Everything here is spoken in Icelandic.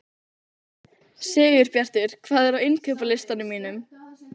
Sigurbjartur, hvað er á innkaupalistanum mínum?